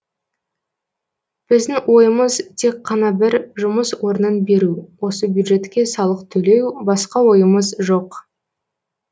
біздің ойымыз тек қана бір жұмыс орнын беру осы бюджеттке салық төлеу басқа ойымыз жоқ